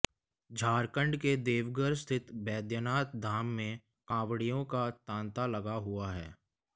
झारखंड के देवघर स्थित बैद्यनाथ धाम में कांवड़ियों का तांता लगा हुआ है